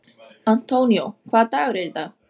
Antonio, hvaða dagur er í dag?